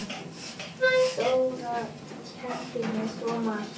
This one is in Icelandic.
Dóra kenndi mér svo margt.